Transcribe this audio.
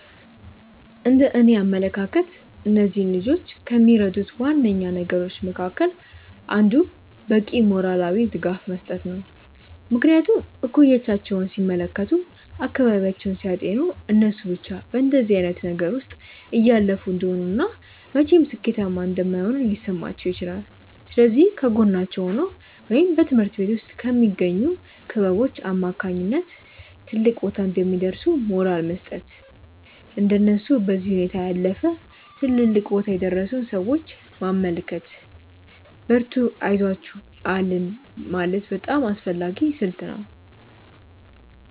እንደእኔ አመለካከት እነዚህን ልጆች ከሚረዱት ዋነኛ ነገሮች መካከል አንዱ በቂ ሞራላዊ ድጋፍ መስጠት ነው። ምክንያቱም እኩዮቻቸውን ሲመለከቱ፤ አካባቢያቸውን ሲያጤኑ እነሱ ብቻ በእንደዚህ አይነት ነገር ውስጥ እያለፉ እንደሆነ እና መቼም ሥኬታማ እንደማይሆኑ ሊሰማቸው ይችላል። ስለዚህ ከጎናቸው ሆኖ ወይም በትምሀርት ቤት ውስጥ በሚገኙ ክበቦች አማካኝነት ትልቅ ቦታ እንደሚደርሱ ሞራል መስጠት፤ እንደነሱ በዚህ ሁኔታ ያለፉ ትልልቅ ቦታ የደረሱን ሰዎች ማመልከት፤ በርቱ አይዞአችሁ አለን ማለት በጣም አስፈላጊ ስልት ነው።